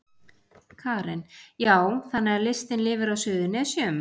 Karen: Já, þannig að listin lifir á Suðurnesjum?